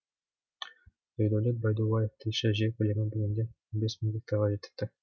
ердәулет байдуллаев тілші жер көлемі бүгінде он бес мың гектарға жетіпті